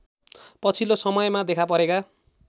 पछिल्लो समयमा देखापरेका